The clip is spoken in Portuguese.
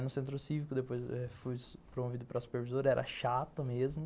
no centro cívico, depois fui promovido para supervisor, era chato mesmo.